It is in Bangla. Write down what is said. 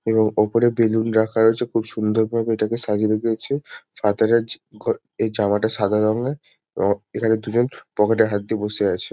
এবং ওপরে বেলুন রাখা রয়েছে খুব সুন্দরভাবে এটাকে সাজিয়ে রেখেছে ফাতারের জ ঘর এই জামাটা সাদা রঙের অ এখানে দুজন পকেট -এ হাত দিয়ে বসে আছে।